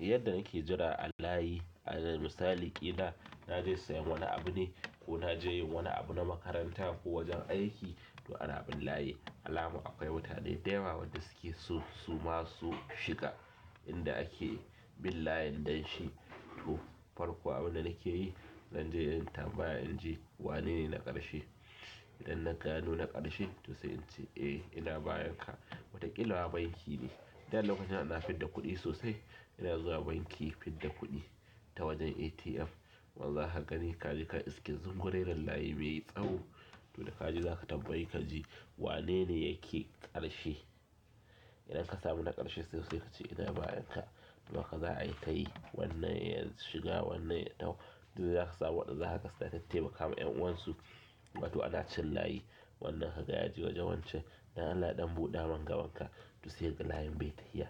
Yadda nake jira a layi, alal misali ƙila naje sayen wani abu ne ko naje yin wani abu na makaranta ko wajen aiki to, ana bin layi, alamar akwai mutane da yawa wanda suke so su ma su shiga inda ake bin layin don shi. To, farko abinda nakeyi, zanje in tambaya in ji wanene na ƙarshe? Idan na gano na ƙarshe, to sai in ce "eh ina bayan ka" wataƙila ma banki ne, da lokacin ana fidda kuɗi sosai ina zuwa banki fidda kuɗi ta wajen ATM. Wanda zaka gani kaje ka iske zungureren layi mai tsawo. To, da kaje zaka tambaye kaji, wanene yake ƙarshe? Idan ka samu na ƙarshe so, sai kace "ina bayan ka." To, haka za'ayi tayi wannan ya shiga wannan ya taho, duk da dai zaka samu waɗanda zaka ga suka tattaimaka wa ƴan'uwan su. To, ana cin layi, wannan kaga yaje wajen wancan don Allah ɗan buɗa mun gabanka to, sai kaga layin bai ya tafiya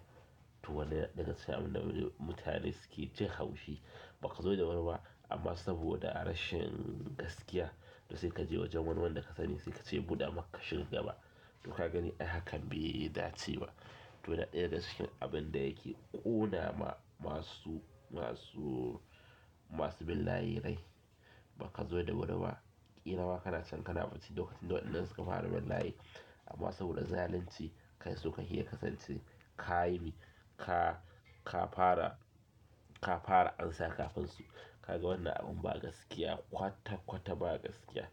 to, wannan yana ɗaya daga cikin abinda mutane suke jin haushi ba kazo da wuri ba. Amma saboda rashin gaskiya to sai kaje wajen wani wanda ka sani sai kace ya buɗa maka ka shiga gaba. To ka gani ai hakan bai dace ba. To yana ɗaya daga cikin abinda yake ƙona ma masu, masu, masu bin layi rai bakazo da wuri ba. Ƙila ma kana can kana bacci lokacin da waɗannan suka fara bin layi. Amma saboda zalunci kai so kake ya kasance kayi mi? Ka, ka fara, ka fara ansa kafin su. Kaga wannan abin ba gaskiya kwata-kwata ba gaskiya.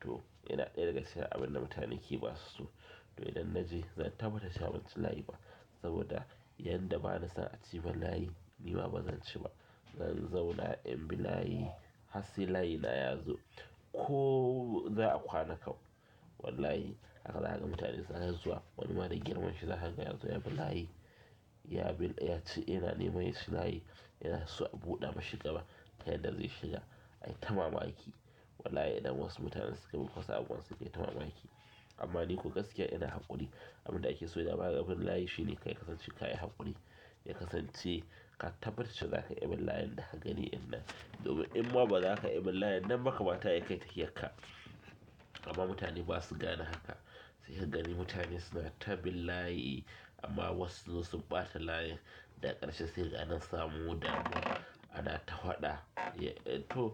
To, yana ɗaya daga cikin abinda mutane ke basu so. To, idan naje zan tabbata cewa banci layi ba, saboda yanda bana son aci mun layi nima bazan ci ba. Zan zauna in bi layi har sai layina yazo ko za'a kwana kau, wallahi haka zaka ga mutane suna ta zuwa wani ma da girman shi zaka ga yazo yabi layi ya bin, yaci, yana neman yaci layi, yana so a buɗa mashi gaba. Ta yadda zai shiga ayi ta mamaki. Wallahi idan wasu mutanen sukayi muku wasu abubuwan sai kayi ta mamaki. Amma ni ko gaskiya ina haƙuri, abinda ake so dama a rinƙa bin layi shine kai ka kasance kayi haƙuri ya kasance, ka tabbatar da cewa zaka iya bin layin daka gani ɗin nan. Domin in ma bazaka iya bin layin nan ba kamata yayi kayi tafiyar ka amma mutane basu gane haka sai ka gani mutane suna ta bin layi amma wasu sun zo sun ɓata layin daga ƙarshe sai kaga ana samo damuwa anata faɗa to,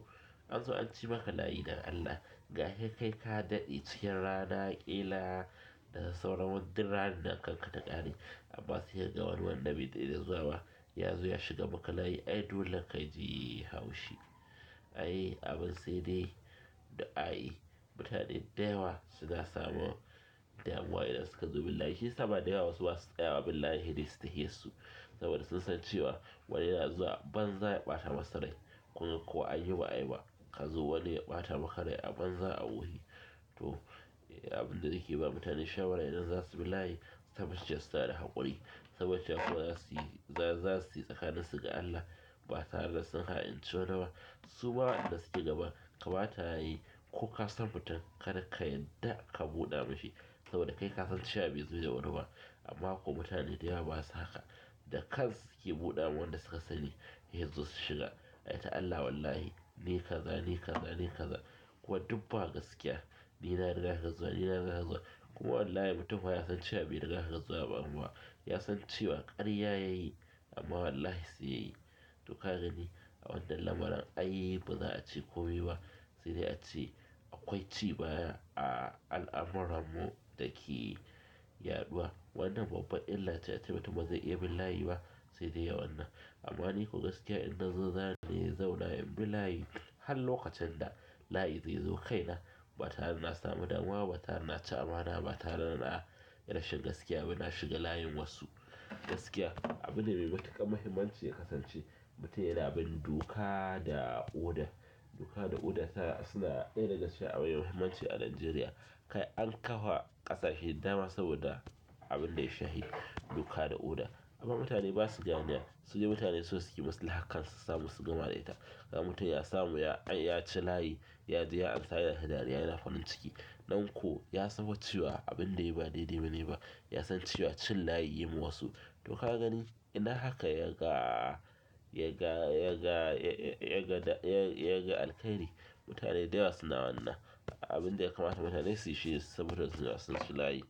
anzo anci maka layi dan Allah, gaka kai ka daɗe cikin rana ƙila da sauran wa duk ranar nan kanka ta ƙare. Amma sai kaga wani wanda bai daɗe da zuwa ba yazo ya shiga maka layi ai dole kaji haushi ai abin saidai du'ai, mutane dayawa suna samun damuwa idan suka zo bin layi shiyasa ma dayawa wasu basu tsayawa bin layin saidai su tafiyar su. Saboda sun san cewa wani yana zuwa a banza ya ɓata masurai kuma ko anyi ba'ayi ba, kazo wani ya ɓata maka rai a banza a wofi to, abinda nake ba mutane shawara idan zasu bi layi su tabbatar cewa suna da haƙuri. Su tabbata cewa kawai zasu yi, za, zasu yi tsakanin su ga Allah ba tare da sun ha'inci wani ba suma wa'inda suke gaban kamata yayi ko kasan mutum kada ka yadda ka buɗa mashi. Saboda kai kasan cewa bai zo da wuri ba. Amma akwai mutane dayawa basa haka, da kansu suke buɗa ma wanda suka sani yazo su shiga ai ta Allah wallahi, ni kaza, ni kaza, ni kaza. Kuma duk ba gaskiya, ni na riga ka zuwa, ni na riga ka zuwa ko wallahi mutum fa yasan cewa bai riga ka zuwa ba kuma. Yasan cewa ƙarya yayi amma wallahi sai yayi. To, kagani a wannan lamuran ai baza'a ce komai ba, saidai ace akwai ci baya a al'amuran mu dake yaɗuwa wannan babban illa ce ace mutum bazai iya bin layi ba saidai ya wannan. Amma ni ko gaskiya in nazo zani zauna in bi layi, har lokacin da layi zaizo kaina batare dana samu damuwa ba tare da naci amana batare da nayi rashin gaskiya ba, na shiga layin wasu gaskiya. Abu ne mai matuƙar muhimmanci ya kasance mutum yana bin doka da oda doka da oda tana, suna ɗaya daga cikin abu mai muhimmanci a najeriya. Kai an ƙafa ƙasashe da dama saboda abinda ya shafi doka da oda. Kuma mutane basu ganewa, sudai mutane so suke maslahar kansu su samu su gama da ita. Kaga mutum ya samu ya, an yaci layi yaje ya amsa yana ta dariya yana farin ciki nan ko yasan fa cewa abinda yayi ba daidai bane ba yasan cewa cin layi yayi ma wasu to, ka gani ina haka yaga, yaga, yaga, yaga da yaga alkairi? Mutane dayawa suna wannan abinda ya kamata mutane suyi shine su tabbatar da cewa sun ci layi.